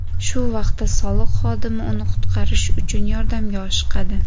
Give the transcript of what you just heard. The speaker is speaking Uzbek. Shu vaqtda soliq xodimi uni qutqarish uchun yordamga oshiqadi.